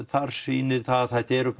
þar sýnir það að þetta eru